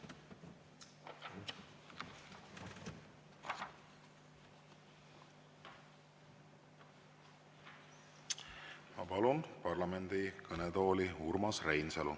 Ma palun parlamendi kõnetooli Urmas Reinsalu.